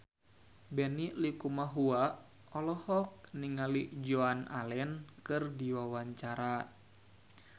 Benny Likumahua olohok ningali Joan Allen keur diwawancara